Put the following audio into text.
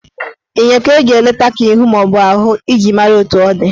Enyo ka eji eleta ka ihu maọbụ ahụ iji mara etu ọ dị